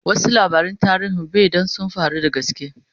wasu labaran tarihi be Dan sun faru da gaske